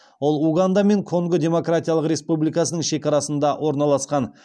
ол уганда мен конго демократиялық республикасының шекарасында орналасқан